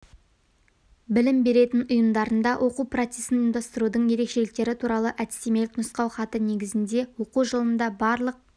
білім беретін ұйымдарында оқу процесін ұйымдастырудың ерекшеліктері туралы әдістемелік нұсқау хаты негізінде оқу жылында барлық